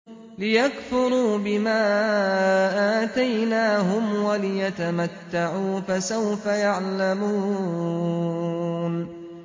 لِيَكْفُرُوا بِمَا آتَيْنَاهُمْ وَلِيَتَمَتَّعُوا ۖ فَسَوْفَ يَعْلَمُونَ